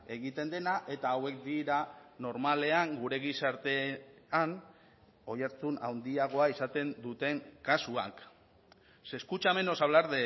egiten dena eta hauek dira normalean gure gizartean oihartzun handiagoa izaten duten kasuak se escucha menos hablar